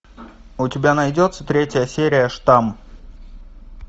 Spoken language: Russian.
у тебя найдется третья серия штамм